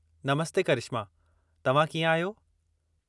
नमस्ते करिश्मा, तव्हां कीअं आहियो?